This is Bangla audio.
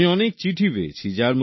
আমি অনেক চিঠি পেয়েছি